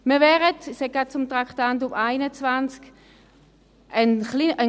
Ich komme gleich zum Traktandum 21: